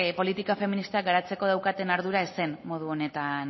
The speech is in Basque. politika feministak garatzeko daukaten ardura ez zen modu honetan